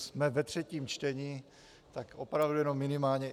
Jsme ve třetím čtení, tak opravdu jenom minimálně.